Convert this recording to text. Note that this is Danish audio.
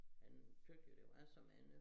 Han tøt jo det var så mange